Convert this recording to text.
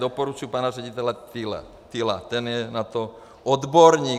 Doporučuji pana ředitele Tylla, ten je na to odborník.